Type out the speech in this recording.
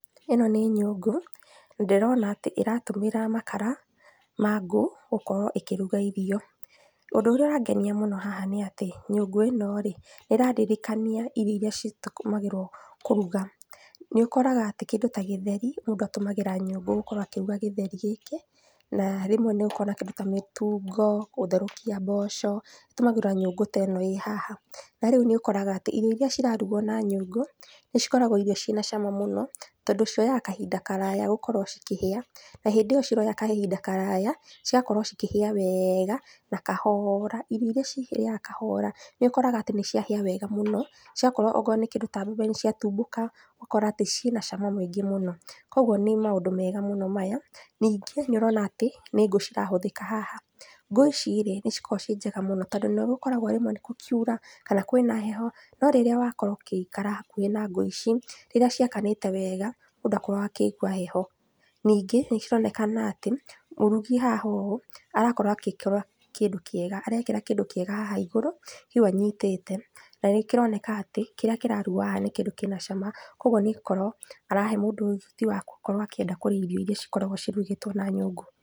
ĩno nĩ nyũngũ, ndĩrona atĩ ĩratũmíra makara, ma ngũ, gũkorwo ĩkĩruga irio, ũndũ ũrĩa ũrangenia mũno haha nĩatĩ nyũngũ ĩno rĩ, ĩrandirikania irio iria citakũmagĩrwo kũruga, nĩũkoraga atĩ, kĩndũ ta gĩtheri, mũndũ atũmagĩra nyũngũ gũkorwo akĩruga gĩtheri gĩkĩ, na rĩmwe nĩũkoraga atĩ ta mũtungo, gũtherũkia mboco, gũtũmagĩra nyũngũ teno ĩ haha, narĩu nĩũkoraga atĩ irio iria cirarugwo na nyũngũ, nĩcikoragwo cirĩ na cama mũno, tondũ cirĩaga kahinda karaya gúkorwo cikĩhĩa, na hĩndĩ ĩyo ciroya kahinda karaya, cigakorwo cikĩhĩa wega, na kahora, irio iria cihĩaga kahora, nĩũkoraga atĩ nĩciahĩa wega mũno, cigakorwo akorwo nĩ kĩndũ ta mũtheri nĩciatumbũka, ũgakora atĩ ciĩna cama mũingĩ mũno, kwoguo nĩ maũndũ mega mũno maya. Ningĩ nĩũrona atĩ, nĩ ngú cirahũthĩka haha, ngũ ici rĩ, nĩcikoragwo ciĩ njega mũno, tondũ nĩgũkoragwo rĩmwe nĩkũkiura, kana kwĩna heho, norĩrĩa wakorwo ũkĩikara hakuhĩ na ngũ ici, rĩrĩa ciakanĩte wega, mũndũ ndakoragwo akĩigua heho, ningĩ nĩcironekana atĩ, mũrugi hahoguo, arakorwo akĩkĩra kĩndũ kĩega, arekĩra kĩndũ kĩega haha igũrũ, kĩu anyitĩte, na nĩkĩroneka atĩ, kĩrĩa kĩrarugwo haha nĩ kĩndũ kĩna cama, koguo nĩkorwo arahe mũndũ ũhoti wa kwenda gũkorwo aĩrĩa irio iria cikoragwo cirugĩtwo na nyũngũ.